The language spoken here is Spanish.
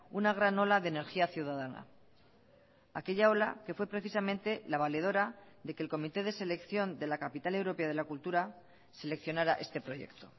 una gran ola de energía ciudadana aquella ola que fue precisamente la valedora de que el comité de selección de la capital europea de la cultura seleccionara este proyecto